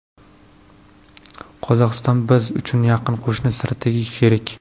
Qozog‘iston biz uchun yaqin qo‘shni, strategik sherik.